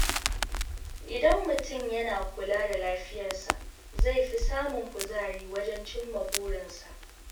Idan mutum yana kula da lafiyarsa, zai fi samun kuzari wajen cimma burinsa.